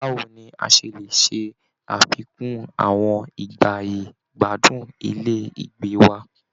Báwo ni a ṣe lè ṣe àfikún àwọn ìgbáyé-gbádùn ilé ìgbé wa?